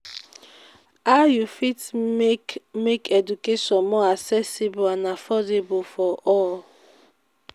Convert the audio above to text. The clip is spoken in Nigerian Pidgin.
how you fit make make education more accessible and affordable for all?